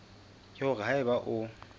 ke hore ha eba o